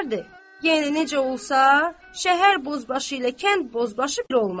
Yəni necə olsa, şəhər bozbaşı ilə kənd bozbaşı bir olmaz.